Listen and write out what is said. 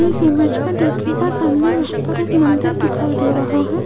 इस इमेज मे देखिएगा का सामने यहां पर एक मंदिर दिखाई दे रहा है